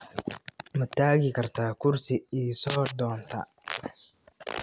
Ma tagi kartaa kursi ii soo doonta?